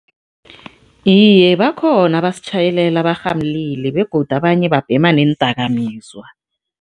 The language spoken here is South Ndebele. Iye, bakhona abasitjhayelela barhamulile begodu abanye babhema neendakamizwa.